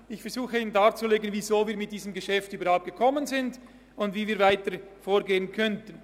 Ich versuche Ihnen darzulegen, weshalb wir mit dem Geschäft überhaupt gekommen sind und wie wir weiter vorgehen könnten.